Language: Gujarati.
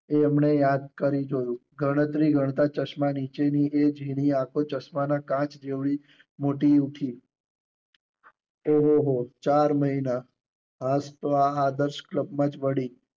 એ એમણે યાદ કરી જોયું. ગણતરી ગણતાં ચશ્મા નીચે ની એ ઝીણી આખો ચશ્મા ના કાચ જેવડી મોટી ઉઠી. ઓહોહો ચાર મહિના હાશ તો આ આદર્શ કલબ માં જ વળી.